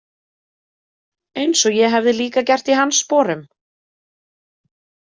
Eins og ég hefði líka gert í hans sporum.